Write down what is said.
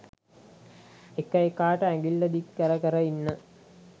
එක එකාට ඇඟිල්ල දික් කර කර ඉන්න